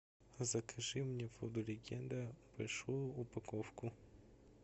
закажи мне воду легенда большую упаковку